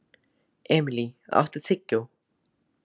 Emilý, áttu tyggjó?